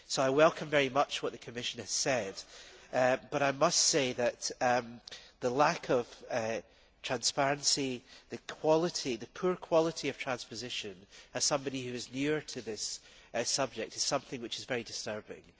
I welcome very much what the Commission has said, but I must say that the lack of transparency and the poor quality of transposition as somebody who is near to this subject is something which is very disturbing.